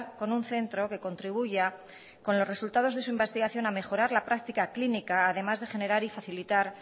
con un centro que contribuya con los resultados de su investigación a mejorar la práctica clínica además de generar y facilitar